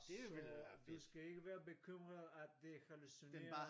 Så du skal ikke være bekymret at det hallucinerer